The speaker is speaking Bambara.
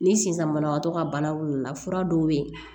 Ni sisan banabagatɔ ka bana fura dɔw bɛ yen